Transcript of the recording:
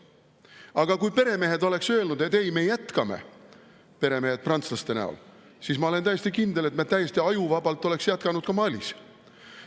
Aga kui peremehed oleksid öelnud, et ei, me jätkame – peremehed prantslaste näol –, siis, ma olen täiesti kindel, me oleksime täiesti ajuvabalt jätkanud ka Malis.